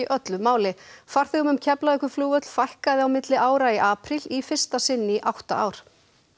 öllu máli farþegum um Keflavíkurflugvöll fækkaði á milli ára í apríl í fyrsta sinn í átta ár